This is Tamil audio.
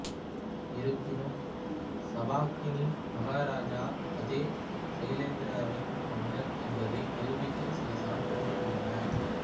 இருப்பினும் சபாக்கின் மகாராஜா அதே சைலேந்திராவின் மன்னர் என்பதை நிரூபிக்க சில சான்றுகள் உள்ளன